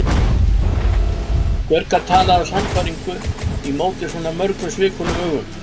Hver gat talað af sannfæringu í móti svona mörgum svikulum augum?